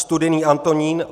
Studený Antonín